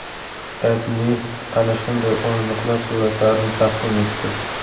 AdMe ana shunday o‘rindiqlar suratlarini taqdim etdi .